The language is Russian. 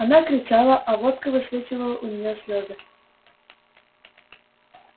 она кричала а водка высвечивала у неё слёзы